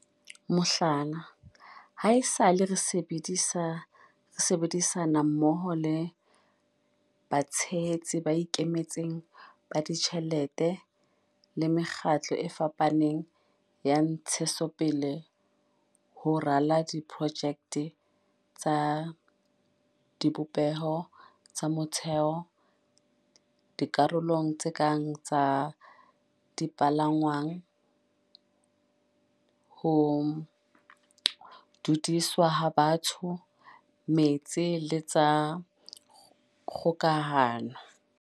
Mohlala, haesale re sebedi-sana mmoho le batshehetsi ba ikemetseng ba ditjhelete le mekgatlo e fapafapaneng ya ntshetsopele ho rala di-projeke tsa dibopeho tsa motheo dikarolong tse kang tsa dipalangwang, ho dudiswa ha batho, metsi le tsa kgoka-hano.